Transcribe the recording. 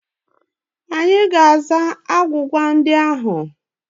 Anyị ga-aza agwụgwa ndị ahụ.